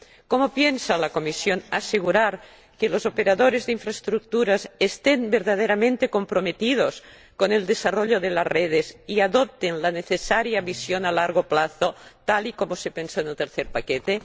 ¿Cómo piensa la Comisión asegurar que los operadores de infraestructuras estén verdaderamente comprometidos con el desarrollo de las redes y adopten la necesaria misión a largo plazo, tal y como se pensó en el tercer paquete?